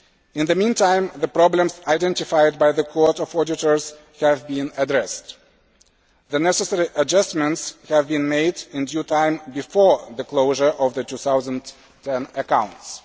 In the meantime, the problems identified by the Court of Auditors have been addressed. The necessary adjustments have been made in due time before the closure of the 2010 accounts.